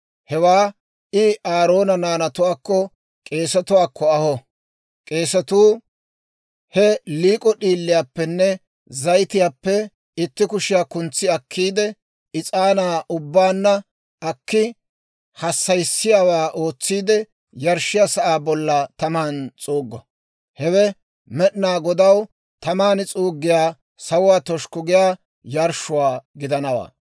Hewaa I Aaroona naanatuwaakko k'eesatuwaakko aho; k'eesatuu he liik'o d'iiliyaappenne zayitiyaappe itti kushiyaa kuntsi akkiide, is'aanaa ubbaanna akki, hassayissiyaawaa ootsiide, yarshshiyaa sa'aa bolla taman s'uuggo. Hewe Med'inaa Godaw taman s'uuggiyaa, sawuwaa toshukku giyaa yarshshuwaa gidanawaa.